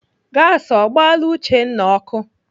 Gasi ọ gbaala Uchenna ọkụ?